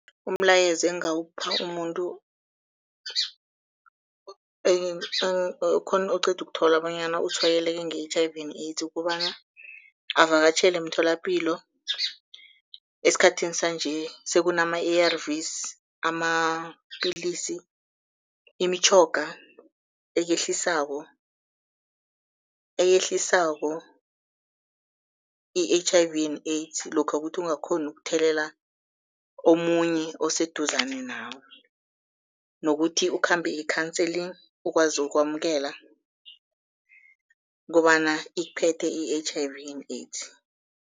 Umlayezo engingawupha umuntu oceda ukuthola bonyana utshwayeleke nge-H_I_V and AIDS kukobana avakatjhele emtholapilo. Esikhathini sanje sekunama-ARVS amapilisi imitjhoga ekehlisako, eyehlisako i-H_I_V and AIDS lokha kuthi ungakghoni ukuthelelela omunye oseduzane nawe, nokuthi ukhambe i-counselling ukwazi ukwamukela kobana ikuphethe i-H_I_V and AIDS.